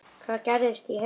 Hvað gerist í haust?